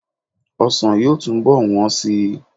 Ọsàn yóò túnbọ̀ wọ́n síi.